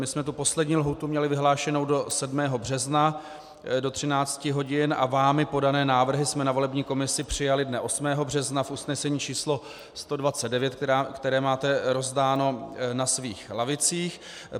My jsme tu poslední lhůtu měli vyhlášenou do 7. března do 13 hodin a vámi podané návrhy jsme na volební komisi přijali dne 8. března v usnesení číslo 129, které máte rozdáno na svých lavicích.